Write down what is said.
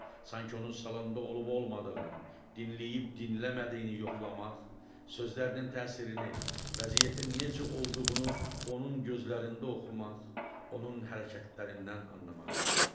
Sanki onun salonda olub-olmadığını, dinləyib-dinləmədiyini yoxlamaq, sözlərinin təsirini, vəziyyətin necə olduğunu onun gözlərində oxumaq, onun hərəkətlərindən anlamaq istəyirdi.